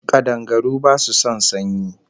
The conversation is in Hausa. Kadangaru basu son sanyi